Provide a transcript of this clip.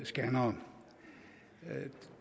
scannere